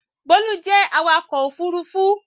Bólú jẹ́ awakọ̀ ófurufú